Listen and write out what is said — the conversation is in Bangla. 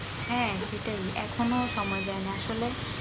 হ্যা সেটাই এখনো সময় যায়নি আসলে